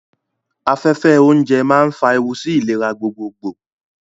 Afẹ́fẹ́ oúnjẹ máa ń fa ewu sí ìlera gbogbogbò.